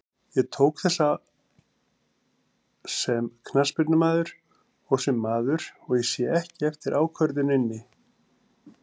Ég tók þessa sem knattspyrnumaður og sem maður, og ég sé ekki eftir ákvörðuninni.